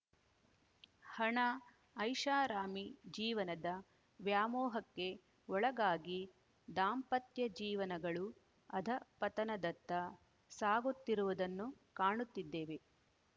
ಹಣ ಐಶಾರಾಮಿ ಜೀವನದ ವ್ಯಾಮೋಹಕ್ಕೆ ಓಳಗಾಗಿ ದಾಂಪತ್ಯ ಜೀವನಗಳು ಅಧಃಪತನದತ್ತ ಸಾಗುತ್ತಿರುವುದನ್ನು ಕಾಣುತ್ತಿದ್ದೇವೆ